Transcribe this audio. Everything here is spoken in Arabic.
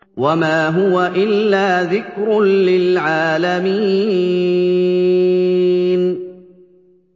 وَمَا هُوَ إِلَّا ذِكْرٌ لِّلْعَالَمِينَ